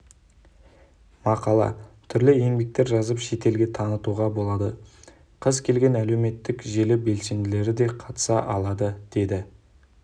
мақала түрлі еңбектер жазып шетелге танытуға болады кез келген әлеуметтік желі белсенділері қатыса алады деді